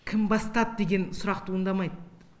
кім бастады деген сұрақ туындамайды